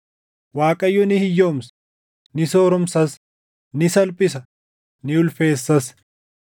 Waaqayyo ni hiyyoomsa; ni sooromsas; ni salphisa; ni ulfeessas.